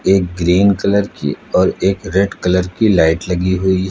एक green colour की और एक रेड कलर की लाइट लगी हुई है।